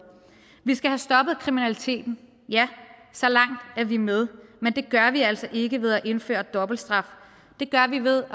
vi skal have stoppet kriminaliteten ja så langt er vi med men det gør vi altså ikke ved at indføre dobbeltstraf det gør vi ved